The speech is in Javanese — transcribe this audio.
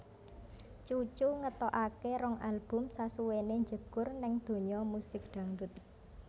Cucu ngetokake rong album sasuwené njegur ning donya musik dangdut